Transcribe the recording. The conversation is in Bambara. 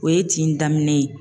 O ye tin daminɛ ye.